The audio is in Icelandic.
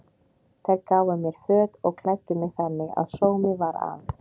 Þær gáfu mér föt og klæddu mig þannig að sómi var að.